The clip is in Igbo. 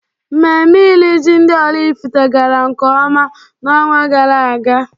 Mmemme iri ji ndị Oraifite gara nkeọma na-ọnwa gara aga.